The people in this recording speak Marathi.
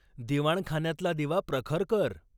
दिवाणखान्यातला दिवा प्रखर कर.